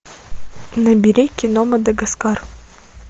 набери кино мадагаскар